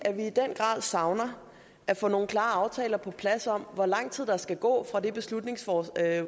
at savner at få nogle klare aftaler på plads om hvor lang tid der skal gå fra det beslutningsgrundlag